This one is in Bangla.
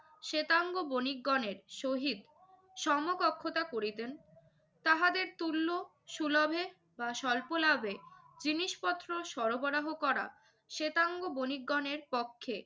শেতাঙ্গ বণিকগণের সহিত সমকক্ষতা করিতেন। তাহাদের তুল্য সুলভে বা স্বল্প লাভে জিনিসপত্র সরবরাহ করা শেতাঙ্গ বণিকগণের পক্ষে